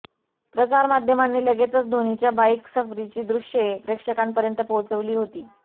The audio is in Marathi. प्रसारमाध्यमांनी लगेचच धोनीच्या बाईक सफरीची दृश्ये प्रेक्षकांपर्यंत पोहोचवली होती